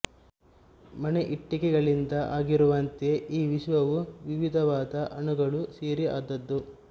ಮನೆ ಇಟ್ಟಿಗೆಗಳಿಂದ ಆಗಿರುವಂತೆ ಈ ವಿಶ್ವವೂ ವಿವಿಧವಾದ ಅಣುಗಳು ಸೇರಿ ಆದದ್ದು